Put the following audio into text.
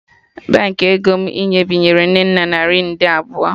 Baankị ego m inye binyere Nnenna naira nde abụọ